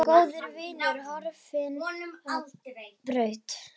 Góður vinur horfinn á braut.